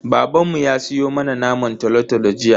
Babanmu ya siyo mana naman tolo-tolo jiya.